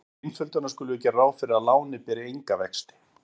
Til einföldunar skulum við gera ráð fyrir að lánið beri enga vexti.